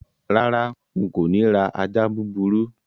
Rárá, n kò ni ra ajá búburú